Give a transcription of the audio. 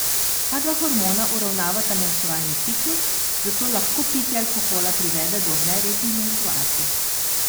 Ta dva hormona uravnavata menstrualni ciklus, zato lahko pitje alkohola privede do nerednih menstruacij.